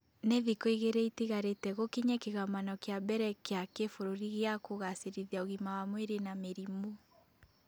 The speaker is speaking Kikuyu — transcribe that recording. Nĩ thikũ igĩrĩ itigarĩte gũkinye kĩgomano kĩa mbere kĩa kĩbũrũri gĩa kũgacĩrithia ũgima wa mwĩrĩ na mĩrimũ